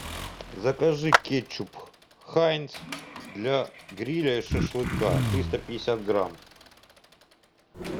закажи кетчуп хайнц для гриля и шашлыка триста пятьдесят грамм